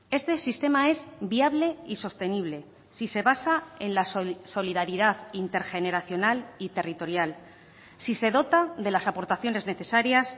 este sistema es viable y sostenible si se basa en la solidaridad intergeneracional y territorial si se dota de las aportaciones necesarias